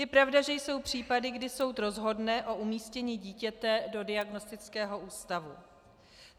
Je pravda, že jsou případy, kdy soud rozhodne o umístění dítěte do diagnostického ústavu.